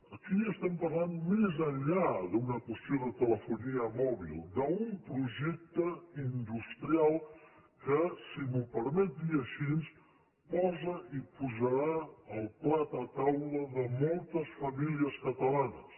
aquí estem parlant més enllà d’una qüestió de telefonia mòbil d’un projecte industrial que si m’ho permet dir així posa i posarà el plat a taula de moltes famílies catalanes